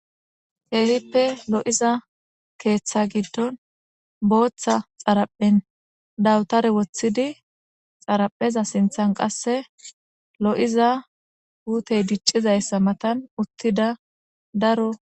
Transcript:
Keehippe lo'iza keeththa giddon booththa xaraphen dawutare woththidi xarapheza sinthan qasse lo'iza puutey diccizayssa matan uttida daro.